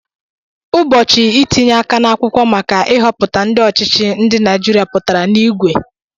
Ụbọchị itinye aka n'akwụkwọ maka i họputa ndị ọchịchị, ndị Naijiria pụtara n'igwe